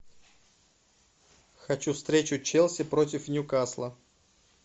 хочу встречу челси против ньюкасла